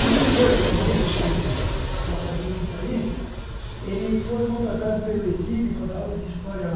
E o José Genuíno, esse safadinho que está aí, ele foi contratado pela equipe para dar aula de história lá.